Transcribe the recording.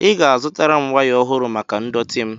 Ị ga-azụtara m waya ọhụrụ maka ndọtị m.